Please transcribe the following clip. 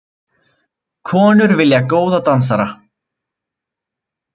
Konur vilja góða dansara